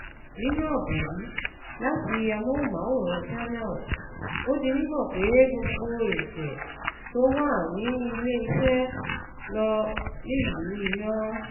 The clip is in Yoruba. Nínú àbọ̀ yìí láti àmóhùnmáwòrán Channels, ó di mímọ̀ pé gbogbo ìriṣẹ́ tó wà ní ilẹ́ iṣẹ́ ló nílù iná.